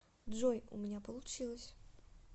джой у меня получилось